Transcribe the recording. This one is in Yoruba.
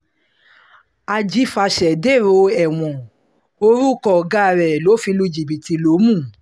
ajifasẹ̀ dèrò ẹ̀wọ̀n orúkọ ọ̀gá re ló fi lu jìbìtì lómú